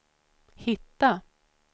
hitta